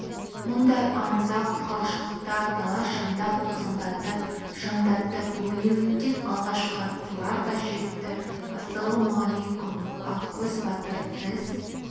мұндай аңызақ құрғақшылықта дала шаңдақ тозаңдатып шаңдатып өрлеуіттен алғашқы аттылар да жетті ассалаумалайкүм ақкөз батыр біз